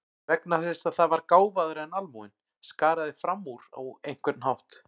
Vegna þess að það var gáfaðra en almúginn, skaraði fram úr á einhvern hátt.